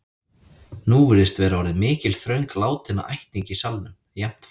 Nú virðist vera orðin mikil þröng látinna ættingja í salnum, jafnt frá